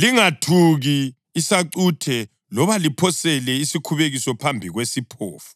Lingathuki isacuthe loba liphosele isikhubekiso phambi kwesiphofu,